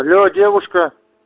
алло девушка